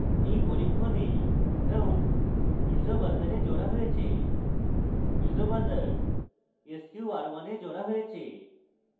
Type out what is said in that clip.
in পরীক্ষণে ground gnd piezo buzzer piezo এ জোড়া হয়েছে piezo buzzer piezo sqr1 এ জোড়া হয়েছে